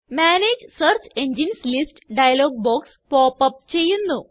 manage search engines list dialog box pop up ചെയ്യുന്നു